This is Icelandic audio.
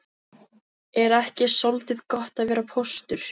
Er ekki soldið gott að vera póstur?